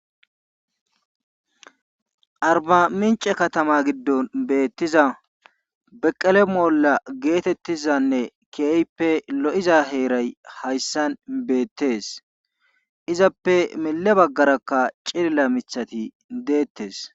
Arbamincce katama gidon beetiza beqele moola geetetizaane keehippe lo'iza heeray hayssan beetees. Izappe mile bagarakka cilila miththati detees.